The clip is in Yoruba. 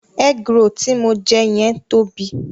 Egg roll tí mo jẹ yẹn tóbi.